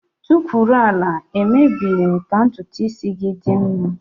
Tukwuru ala! Emebeghi m ka ntutu isi gị dị mma.